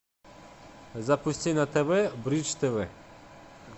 запусти на тв бридж тв